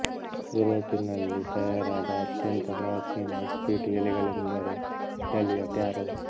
ಯೂರೋಪಿನಲ್ಲಿ ತಯಾರಾದ ಅತ್ಯಂತ ಪ್ರಾಚೀನ ಇಸ್ಪೀಟು ಎಲೆಗಳೆಂದರೆ ಇಟಲಿಯ ಟ್ಯಾರೊ